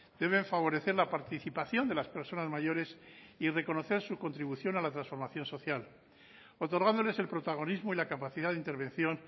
deben favorecer la participación de las personas mayores y reconocer su contribución a la transformación social otorgándoles el protagonismo y la capacidad de intervención